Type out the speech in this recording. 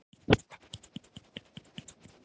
Gullý, hvað er að frétta?